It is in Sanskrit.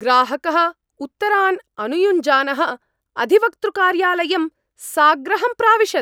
ग्राहकः उत्तरान् अनुयुञ्जानः अधिवक्तृकार्यालयं साग्रहं प्राविशत्!